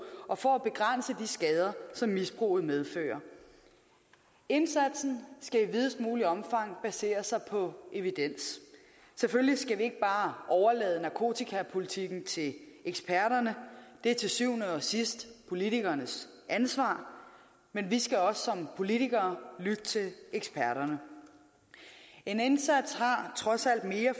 og for at begrænse de skader som misbruget medfører indsatsen skal i videst muligt omfang basere sig på evidens selvfølgelig skal vi ikke bare overlade narkotikapolitikken til eksperterne det er til syvende og sidst politikernes ansvar men vi skal også politikere lytte til eksperterne en indsats har trods alt mere